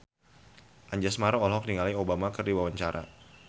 Anjasmara olohok ningali Obama keur diwawancara